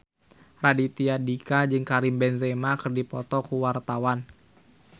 Raditya Dika jeung Karim Benzema keur dipoto ku wartawan